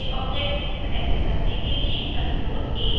सारे objects select करने के लिए ctrl + a दबाएं